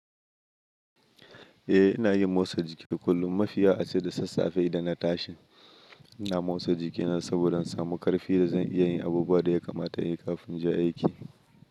Eh, ina yin motsa jiki kullum. Mafiya ace da sassafe idan na tashin, ina motsa jikina saboda samu ƙarfi da zan iya yin abubuwa da ya kamata in yi kafin in je aiki.